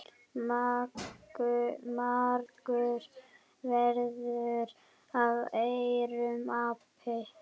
Margur verður af aurum api.